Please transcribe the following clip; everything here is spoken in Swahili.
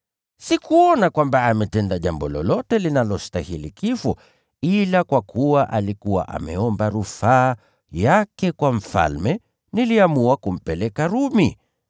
Sikuona kwamba ametenda jambo lolote linalostahili kifo, ila kwa kuwa alikuwa ameomba rufaa yake kwa mfalme, niliamua kumpeleka Rumi.